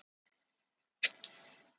Hann slær hnefanum í símaborðið.